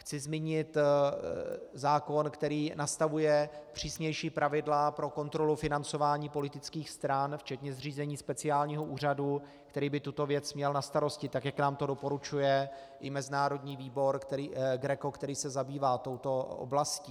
Chci zmínit zákon, který nastavuje přísnější pravidla pro kontrolu financování politických stran včetně zřízení speciálního úřadu, který by tuto věc měl na starosti, tak jak nám to doporučuje i mezinárodní výbor GRECO, který se zabývá touto oblastí.